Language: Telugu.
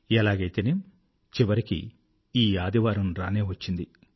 ఎలాగైతేనేం చివరికి ఈ సండే రానేవచ్చింది